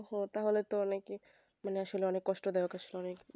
ওহ তাহলে তো অনেক মানে আসলে অনেক কষ্ট